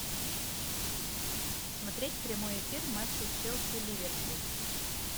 смотреть прямой эфир матча челси ливерпуль